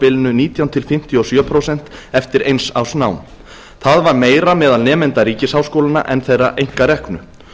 bilinu nítján til fimmtíu og sjö prósent eftir eins árs nám það var meira meðal nemenda ríkisháskólanna en þeirra einkareknu